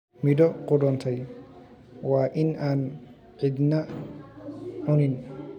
Midho qudhuntay waa in aan cidina cunin.